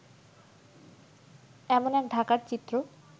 এমন এক ঢাকার চিত্র